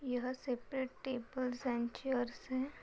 यह separate tables and chairs हैं।